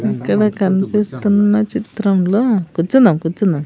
ఇక్కడ కనిపిస్తున్న చిత్రంలో కూర్చుందాం కూర్చుందాం.